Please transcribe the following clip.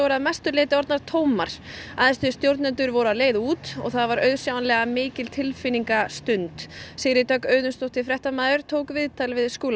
að mestu orðnar tómar æðstu stjórnendur félagsins voru á leið út og það var auðsjáanlega mikil Sigríður Dögg Auðunsdóttir tók viðtal við Skúla